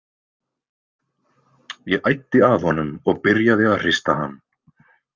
Ég æddi að honum og byrjaði að hrista hann.